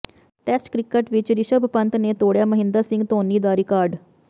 test cricket ਵਿੱਚ ਰਿਸ਼ਭ ਪੰਤ ਨੇ ਤੋੜਿਆ ਮਹਿੰਦਰ ਸਿੰਘ ਧੋਨੀ ਦਾ ਰਿਕਾਰਡ